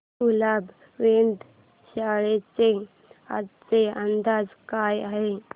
कुलाबा वेधशाळेचा आजचा अंदाज काय आहे